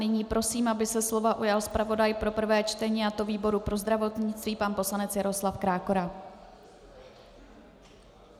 Nyní prosím, aby se slova ujal zpravodaj pro prvé čtení, a to výboru pro zdravotnictví pan poslanec Jaroslav Krákora.